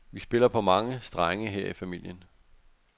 Vi spiller på mange strenge her i familien.